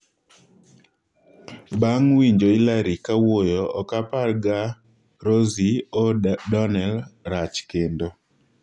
Bang' winjo Hillary kawuoyo, ok apar ga Rossie O'Donnell rach kendo."